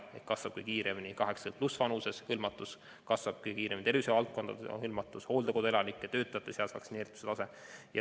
Kiiresti kasvab ka üle 80-aastaste vanuserühma ja tervishoiuvaldkonna vaktsineeritus, samuti hooldekodude elanike ja sealsete töötajate vaktsineeritus.